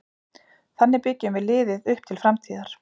Þannig byggjum við liðið upp til framtíðar.